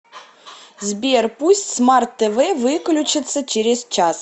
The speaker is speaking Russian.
сбер пусть смарт тв выключится через час